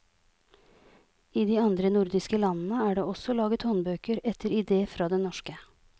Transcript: I de andre nordiske landene er det også laget håndbøker etter ide fra den norske.